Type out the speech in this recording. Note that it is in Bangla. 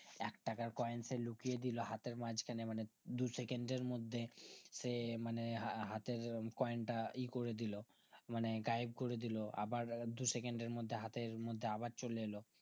একটাকার কোয়েনকে লুকিয়ে দিলো হাতের মাজখানে মানে দু second এর মধ্যে সে মানে হাহাতের কয়েন টা ই করে দিলো মানে গায়েব করেদিল আবার দু second এর মধ্যে হাতের মধ্যে আবার চলে এল